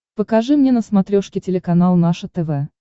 покажи мне на смотрешке телеканал наше тв